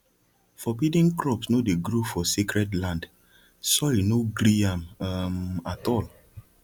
forbidden crops no dey grow for sacred land soil no gree am um at all